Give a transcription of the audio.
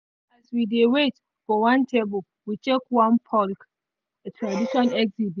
as we dey wait for table we check one folk tradition exhibit.